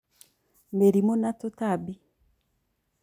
Mĩrimũ na tũtambi